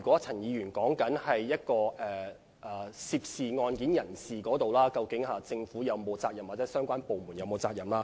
陳議員提到涉案人士犯法的問題，並問政府或相關部門是否有責任。